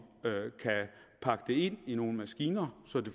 kunne pakke det ind i nogle maskiner så det